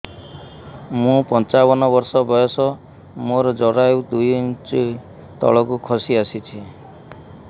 ମୁଁ ପଞ୍ଚାବନ ବର୍ଷ ବୟସ ମୋର ଜରାୟୁ ଦୁଇ ଇଞ୍ଚ ତଳକୁ ଖସି ଆସିଛି